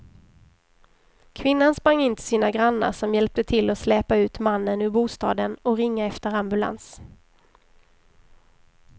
Kvinnan sprang in till sina grannar som hjälpte till att släpa ut mannen ur bostaden och ringa efter ambulans.